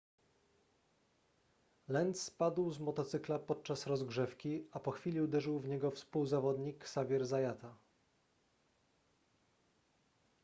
lenz spadł z motocykla podczas rozgrzewki a po chwili uderzył w niego współzawodnik xavier zayata